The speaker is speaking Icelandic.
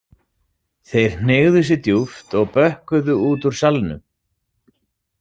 Þeir hneigðu sig djúpt og bökkuðu út úr salnum.